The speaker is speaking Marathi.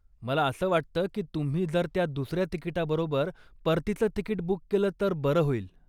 मला असं वाटतं की तुम्ही जर दुसऱ्या तिकीटाबरोबर परतीचं तिकीट बूक केलंत तर बरं होईल.